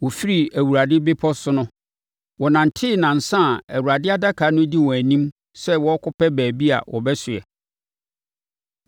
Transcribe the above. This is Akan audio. Wɔfiri Awurade Bepɔ so no, wɔnantee nnansa a Awurade Adaka no di wɔn anim sɛ wɔrekɔpɛ baabi a wɔbɛsoeɛ.